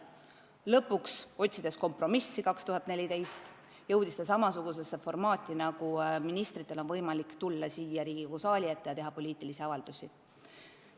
Lõpuks, otsides 2014. aastal kompromissi, jõudis see samasuguse formaadini, nagu kehtib ministrite puhul: on võimalik tulla Riigikogu ette ja teha poliitilisi avaldusi.